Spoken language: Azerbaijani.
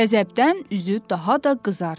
Qəzəbdən üzü daha da qızardı.